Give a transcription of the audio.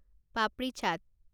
পাপৰি চাট